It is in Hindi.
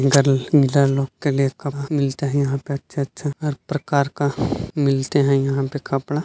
गर्ल गर्ल लोग के लिए कपड़े मिलते है यहाँ पे अच्छे-अच्छे हर प्रकार का मिलते है यहाँ पे कपड़ा --